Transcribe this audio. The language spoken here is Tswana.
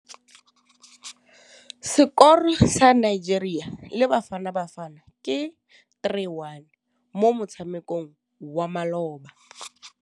Sekôrô sa Nigeria le Bafanabafana ke 3-1 mo motshamekong wa malôba.